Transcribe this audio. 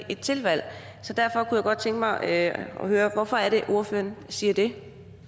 et tilvalg så derfor kunne jeg godt tænke mig at høre hvorfor det er ordføreren siger det